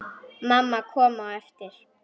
Mamma kom á eftir.